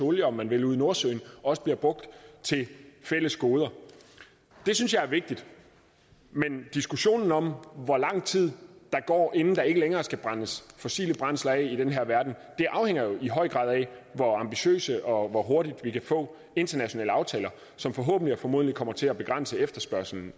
olie om man vil ude i nordsøen også bliver brugt til fælles goder det synes jeg er vigtigt men diskussionen om hvor lang tid der går inden der ikke længere skal brændes fossile brændsler af i den her verden afhænger jo i høj grad af hvor ambitiøse og hvor hurtigt vi kan få internationale aftaler som forhåbentlig og formodentlig kommer til at begrænse efterspørgslen